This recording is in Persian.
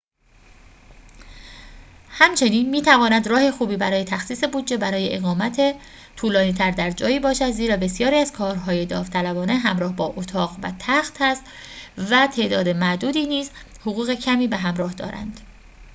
همچنین می‌تواند راه خوبی برای تخصیص بودجه برای اقامت طولانی‌تر در جایی باشد زیرا بسیاری از کارهای داوطلبانه همراه با اتاق و تخت است و تعداد معدودی نیز حقوق کمی به همراه دارند